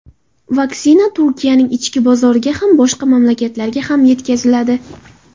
Vaksina Turkiyaning ichki bozoriga ham, boshqa mamlakatlarga ham yetkaziladi.